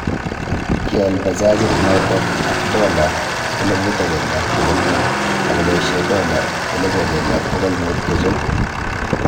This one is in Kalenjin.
Kial bajajiit noto ak dola 1500 akoboishe dola 11500 kochob